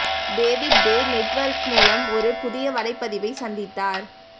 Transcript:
David Day network மூலம் ஒரு புதிய வலைப்பதிவை சந்தித்தார்